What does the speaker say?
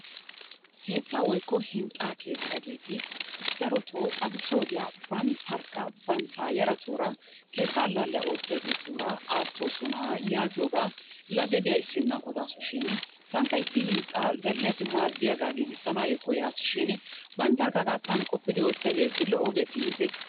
keettaa woykko hinxxaa keexxiyaageeti darotoo addussa woddiya bantarkka bantta yaratuura keetta allaalliya oottiyaageetura aatoosona yaagiyoogaa. lagge diya issinna odaasu shini tankka issi hixxaa zal'iyaayo maadiyaga giigisanaayoo koyaasi shiini banttarkka hagaadan qoppidi oottiyageeti lo'o geetii intte?